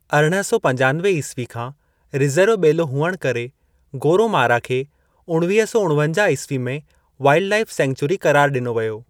अरिड़हं सौ पंजानवे ईस्वी खां रिज़र्व ॿेलो हुअण करे, गोरोमारा खे 1949 ईस्वी में वाइलड लाईफ़ सींखचरी क़रारु ॾिनो वियो।